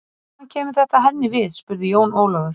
Hvað kemur þetta henni við spurði Jón Ólafur.